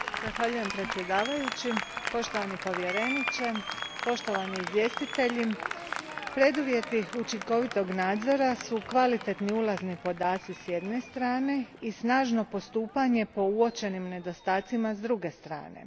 Gospodine predsjedniče, poštovani povjereniče, poštovani izvjestitelji, preduvjeti učinkovitog nadzora su kvalitetni ulazni podaci s jedne strane, i snažno postupanje po uočenim nedostacima s druge strane.